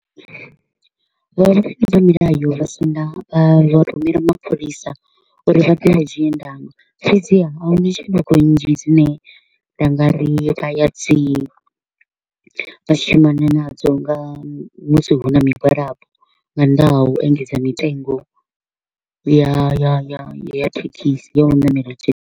Vho ramilayo vha vho rumela mapholisa uri vha ḓe vha dzhie ndanga, fhedziha a huna tshanduko nnzhi dzine nda nga ri vha ya dzi vha shumana nadzo nga musi hu na migwalabo, nga nnḓa ha u engedzwa ha mitengo ya ya ya thekhisi ya u ṋamela thekhisi.